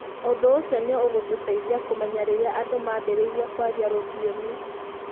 Ũndũ ũcio nĩ ũtũteithagia kũmenya rĩrĩa andũ maambĩrĩirie kwaria rũthiomi.